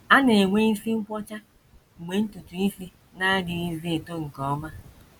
A na - enwe isi nkwọcha mgbe ntutu isi na - adịghịzi eto nke ọma.